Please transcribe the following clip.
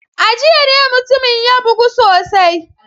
A jiya ne mutumin ya bugu sosai.